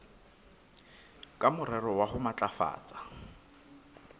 ka morero wa ho matlafatsa